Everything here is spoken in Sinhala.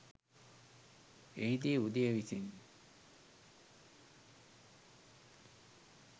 එහිදී උදය විසින්